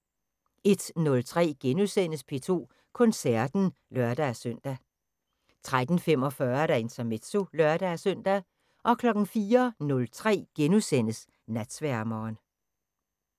01:03: P2 Koncerten *(lør-søn) 03:45: Intermezzo (lør-søn) 04:03: Natsværmeren *